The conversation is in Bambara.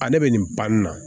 Ale bɛ nin ban nin na